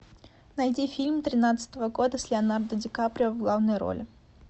найди фильм тринадцатого года с леонардо ди каприо в главной роли